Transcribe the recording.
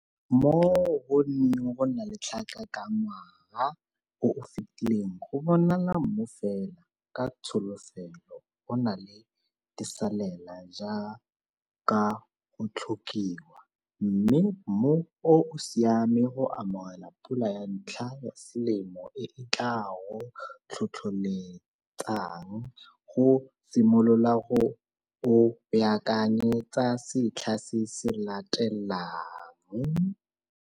Mo go neng go na le tlhaka ka ngwaga o o fetileng go bonala mmu fela, ka tsholofelo go na le disalela jaaka go tlhokiwa, mme mmu o o siame go amogela pula ya ntlha ya selemo e e tlaa go tlhotlholetsang go simolola go o baakanyetsa setlha se se latelang.